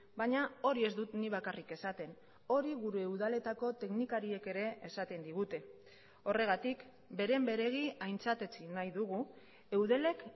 baina hori ez dut nik bakarrik esaten hori gure udaletako teknikariek ere esaten digute horregatik beren beregi aintzat etsi nahi dugu eudelek